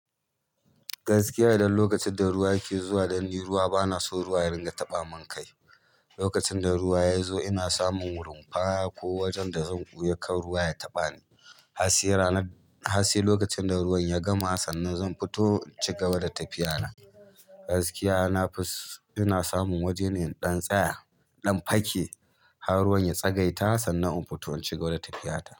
Gaskiya idan lokacin da ruwa yake zuwa, dan ni ruwa bana so ruwa ya ringa taɓa man kai, lokacin da ruwa ya zo ina samun rumfa ko wajan da zan ɓoya kar ruwa ya taɓa ni, hasai ranan, hasai lokacin da ruwan ya gama sannan zan fito in ci gaba da tafiya na, gaskiya na fus, ina samun waje ne in ɗan tsaya, ɗan fake har ruwan ya tsagaita sannan un fito in cigaba da tafiya ta,